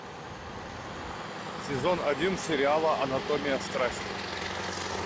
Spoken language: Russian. сезон один сериала анатомия страсти